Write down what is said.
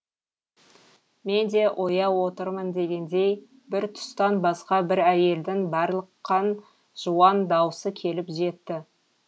мен де ояу отырмын дегендей бір тұстан басқа бір әйелдің барлыққан жуан даусы келіп жетті